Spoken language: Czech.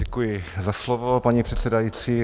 Děkuji za slovo, paní předsedající.